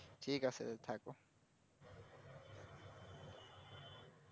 ঠিক আছে থাকো